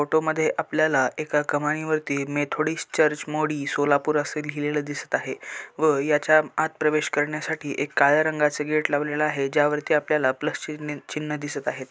Photo मध्ये आपल्याला एका कमानी वरती मेथोडिस्ट चर्च मोडी सोलापूर अस लिहिलेलं दिसत आहे व याच्या आत प्रवेश करण्यासाठी एक काळ्या रंगाच गेट लावलेल आहे ज्यावरती आपल्याला प्लस चिन्ह चिन्ह दिसत आहे.